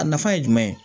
A nafa ye jumɛn ye